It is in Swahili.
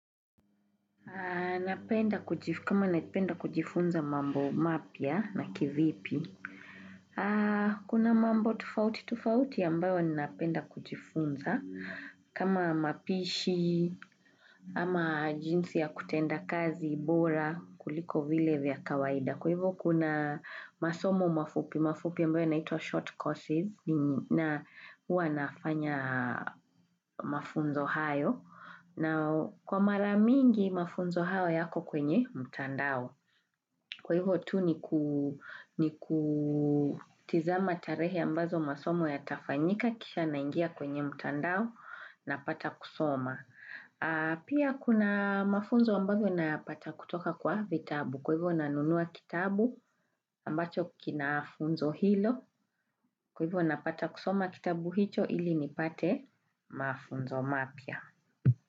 Kama napenda kujifunza mambo mapya na kivipi, kuna mambo tofauti tofauti ambayo ninapenda kujifunza kama mapishi ama jinsi ya kutenda kazi bora kuliko vile vya kawaida. Kwa hivyo kuna masomo mafupi, mafupi ambayo yanaitwa short courses na huwa nafanya mafunzo hayo na kwa mara mingi mafunzo hayo yako kwenye mtandao. Kwa hivyo tu ni kutizama tarehe ambazo masomo yatafanyika kisha naingia kwenye mtandao napata kusoma. Pia kuna mafunzo ambazo nayapata kutoka kwa vitabu kwa hivyo nanunua kitabu ambacho kinafunzo hilo kwa hivyo napata kusoma kitabu hicho ili nipate mafunzo mapya.